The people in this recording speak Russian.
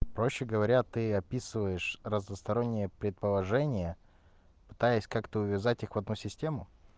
проще говоря ты описываешь разносторонние предположение пытаясь как-то увязать их в одну систему